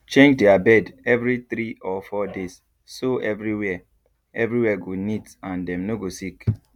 change their bed every three or four days so everywhere everywhere go neat and dem no go sick